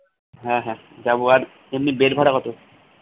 হ্যা হ্যা যাবো আর এমনি bed ভাড়া কত